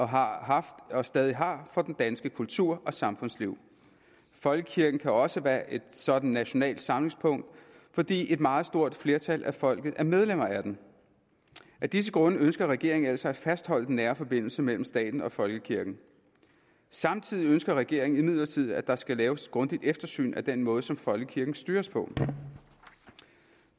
har haft og stadig har for den danske kultur og samfundsliv folkekirken kan også være et sådant nationalt samlingspunkt fordi et meget stort flertal af folket er medlemmer af den af disse grunde ønsker regeringen altså at fastholde den nære forbindelse mellem staten og folkekirken samtidig ønsker regeringen imidlertid at der skal laves et grundigt eftersyn af den måde som folkekirken styres på